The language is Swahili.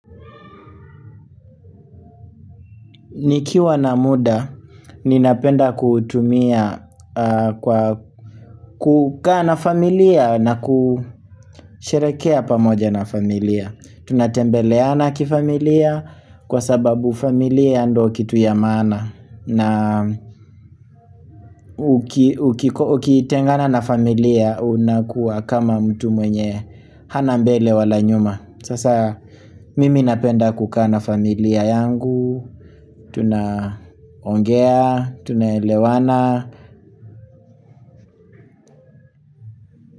Nikiwa na muda, ninapenda kutumia kwa kukaa na familia na kusherehekea pamoja na familia. Tunatembeleana kifamilia, kwa sababu familia ndo kitu ya maana. Na ukitengana na familia, unakuwa kama mtu mwenye hana mbele wala nyuma. Sasa mimi napenda kukaa na familia yangu Tuna ongea, tunelewana.